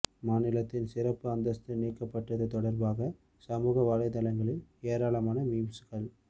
மாநிலத்தின் சிறப்பு அந்தஸ்து நீக்கப்பட்டது தொடர்பாக சமூக வலைதளங்களில் ஏராளமான மீம்ஸ்கள்